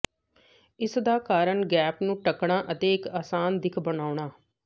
ਇਸਦਾ ਕਾਰਨ ਗੈਪ ਨੂੰ ਢੱਕਣਾ ਅਤੇ ਇਕ ਆਸਾਨ ਦਿੱਖ ਬਣਾਉਣਾ